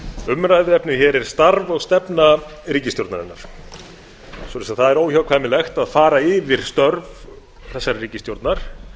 umræðuefnið hér er starf og stefna ríkisstjórnarinnar svoleiðis að það er óhjákvæmilegt að fara yfir störf þessarar ríkisstjórnar